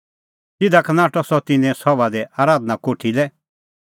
तिधा का नाठअ सह तिन्नें सभा दी आराधना कोठी लै